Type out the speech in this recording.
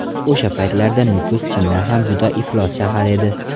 O‘sha paytlari Nukus chindan ham juda iflos shahar edi.